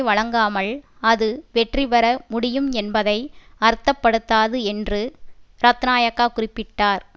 வழங்காமல் அது வெற்றிபெற முடியும் என்பதை அர்த்தப்படுத்தாது என்று ரத்னாயக்கா குறிப்பிட்டார்